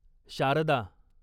Sharda